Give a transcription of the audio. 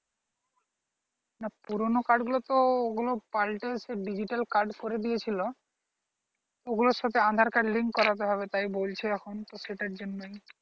না পুরোনো card গুলো তো ওগুলো পাল্টে সেই digital card করেছিল ওগুলোর সাথে aadhaar card link করতে হবে তাই বলছে এখন সেটার জন্যই